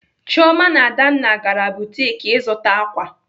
Chioma na Adanna gara butik ịzụta ákwà.